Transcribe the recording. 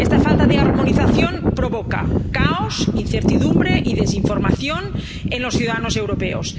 Esta falta de armonización provoca caos, incertidumbre y desinformación entre los ciudadanos europeos